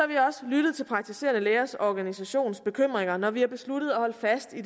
vi også lyttet til praktiserende lægers organisations bekymringer når vi har besluttet at holde fast i